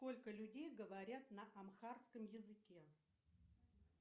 сколько людей говорят на амхарском языке